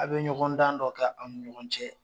A bɛ ɲɔgɔn dan dɔ kɛ aw ni ɲɔgɔn cɛ.